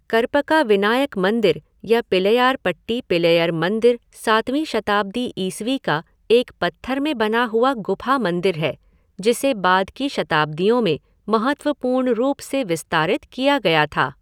करपका विनायक मंदिर या पिल्लईयारपट्टी पिल्लैयर मंदिर सातवीं शताब्दी ईस्वी का एक पत्थर में बना हुआ गुफा मंदिर है, जिसे बाद की शताब्दियों में महत्वपूर्ण रूप से विस्तारित किया गया था।